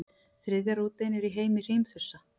þriðja rótin er í heimi hrímþursa